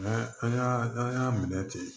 N'an an y'a n'an y'a minɛ ten